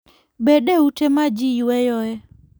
Bed e ute ma ji yueyoe.